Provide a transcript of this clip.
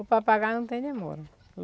O papagaio não tem demora.